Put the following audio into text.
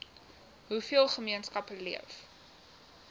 hoeveel gemeenskappe leef